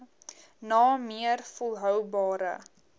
na meer volhoubare